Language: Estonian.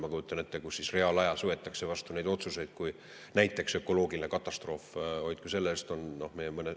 Ma kujutan ette, et reaalajas võetakse vastu otsuseid, kui näiteks ökoloogiline katastroof – hoidku selle eest!